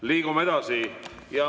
Liigume edasi.